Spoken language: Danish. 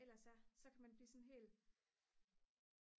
ellers er så kan man blive sådan helt